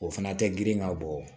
O fana tɛ girin ka bɔ